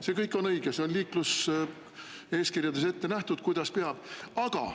See kõik on õige, see on liikluseeskirjades ette nähtud, kuidas peab olema.